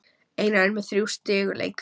Einar með þrjú í sigurleik